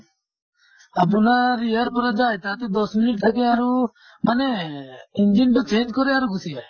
আপোনাৰ ইয়াৰ পৰা যায়, তাতে দশ minute থাকে আৰু মানে engine টো change কৰে আৰু গুছি যায়।